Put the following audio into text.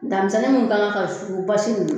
Daa misɛnnin minnu kan ka basi ninnu